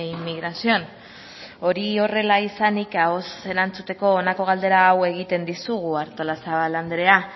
inmigración hori horrela izanik ahoz erantzuteko honako galdera hau egiten dizugu artolazabal andrea